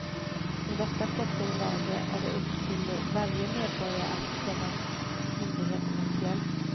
I detta pressade läge är det upp till varje medborgare att komma myndigheterna till hjälp.